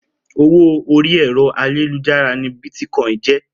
Owó orí ẹ̀rọ ayélujára ni Bítíkọ́ìn jẹ́.